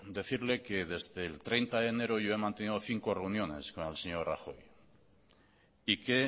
decirle que desde el treinta de enero yo he mantenido cinco reuniones con el señor rajoy y que